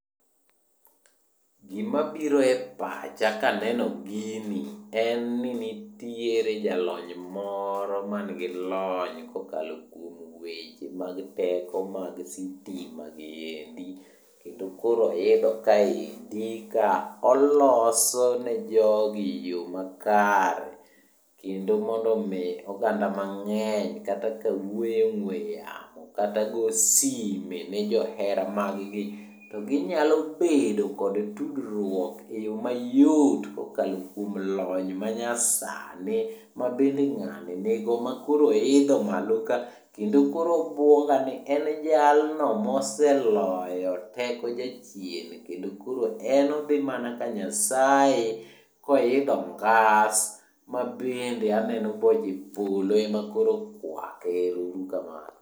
Gima biro e pacha kaneno gini, en ni nitiere jalony moro mangi lony kokalo kuom weche mag teko mag sitima giendi kendo koro oidho kaendi ka oloso ne jogi yo makare, kendo mondo omi oganda mang'eny kata ka wuoyo e ong'we yamo, kata go sime ne johera maggi to ginyalo bedo kod tudruok e yo mayot kokalo kuom lony manyasani, ma bende ng'ani nigo ma koro oidho malo ka kendo koro obuoga ni en jalno moseloyo teko jachien kendo koro en odhi mana ka Nyasaye koidho ngas, mabende aneno ka boche polo ema koro okwake. Ero uru kamano